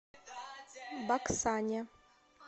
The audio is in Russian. баксане